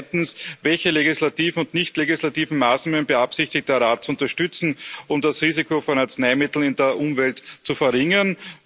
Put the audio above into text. Zweitens Welche legislativen und nicht legislativen Maßnahmen beabsichtigt der Rat zu unterstützen, um das Risiko von Arzneimitteln in der Umwelt zu verringern?